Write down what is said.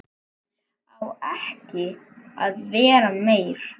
Á ekki að vera meir.